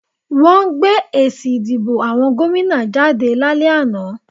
Wọ́n gbé èsì ìdìbò àwọn gómìnà jáde lálẹ́ àná